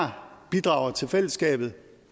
her bidrager til fællesskabet